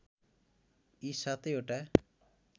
यी सातै वटा